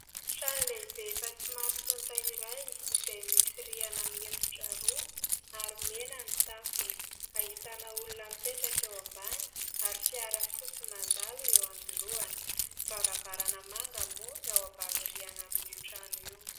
Trano lehibe efa somary tonta iray izay misy rihana mihefitra roa ary mena ny tafony. Ahitana olona mipetraka eo ambany ary fiara fotsy mandalo eo anoloana. Varavarana manga moa ny ao ambany rihana amin'io trano io.